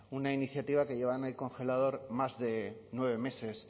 una iniciativa que lleva en el congelador más de nueve meses